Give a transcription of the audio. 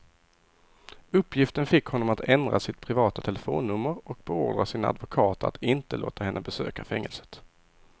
Uppgiften fick honom att ändra sitt privata telefonnummer och beordra sina advokater att inte låta henne besöka fängelset.